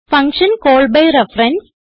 function call by reference